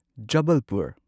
Jabalpur